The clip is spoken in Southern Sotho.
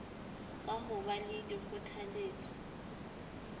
ka ho ba le dikgothaletso